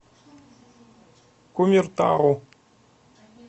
кумертау